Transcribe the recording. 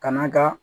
Kana ka